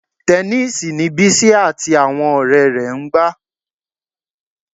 Tẹníìsì ni Bísí àti àwọn ọ̀rẹ́ rẹ̀ ń gbá